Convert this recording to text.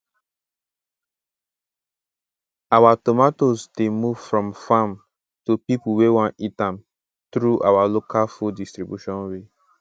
our tomatoes dey move from farm to people wey won eat am through our local food distribution way